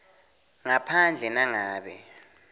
ngaphandle nangabe